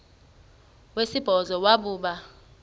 wesibhozo wabhu bha